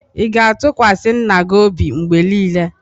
Ị ga-atụkwasị nna gị obi mgbe niile?